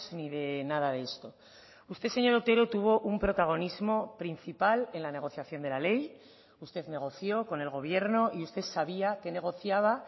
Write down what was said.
ni de nada de esto usted señor otero tuvo un protagonismo principal en la negociación de la ley usted negoció con el gobierno y usted sabía qué negociaba